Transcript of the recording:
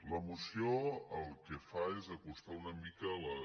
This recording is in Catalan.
la moció el que fa és acostar una mica les